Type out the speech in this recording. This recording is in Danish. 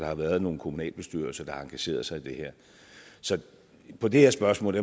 har været nogle kommunalbestyrelser der har engageret sig i det her så hvad det her spørgsmål